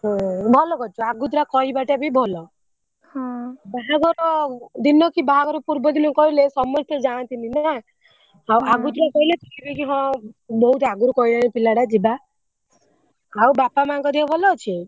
ଓହୋ ଭଲ କରିଛୁ ଆଗୁତୁରା କହିବା ଟା ବି ଭଲ ବାହାଘର ଦିନ କି ବାହାଘର ପୂର୍ବ ଦିନ କହିଲେ ସମସ୍ତେ ଯାନ୍ତିନି ନା ଆଉ ଆଗୁତୁରିଆ କହିଲେ କହିବେ କି ହଁ ବହୁତ ଆଗରୁ କହିଲାଣି ପିଲା ଟା ଯିବା ଆଉ ବାପା ମାଙ୍କ ଦେହ ଭଲ ଅଛି?